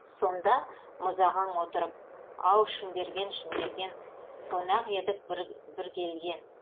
сонда мұзағаң отырып ау шымберген шымберген қонақ едік бір келген